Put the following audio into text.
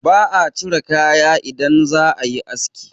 ba a cire kaya idan za a yi aski